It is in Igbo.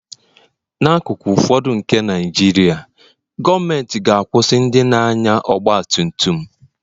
n'akụkụ ụfọdụ nke Naijiria, gọọmentị ga-akwụsị ndị na-anya ọgba tum tum